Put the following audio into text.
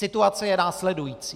Situace je následující.